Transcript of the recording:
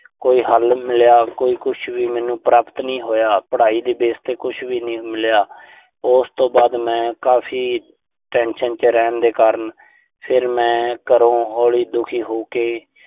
ਕੋਈ ਹੱਲ ਮਿਲਿਆ। ਕੋਈ ਕੁਸ਼ ਵੀ ਮੈਨੂੰ ਪ੍ਰਾਪਤ ਨਹੀਂ ਹੋਇਆ। ਪੜਾਈ ਦੇ base ਤੇ ਕੁਸ਼ ਵੀ ਨਹੀਂ ਮਿਲਿਆ। ਉਸ ਤੋਂ ਬਾਅਦ ਮੈਂ ਕਾਫ਼ੀ tension ਚ ਰਹਿਣ ਦੇ ਕਾਰਨ, ਫਿਰ ਮੈਂ ਘਰੋਂ ਹੋਰ ਦੁਖੀ ਹੋ ਕੇ